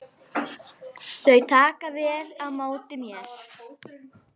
Þau taka vel á móti mér.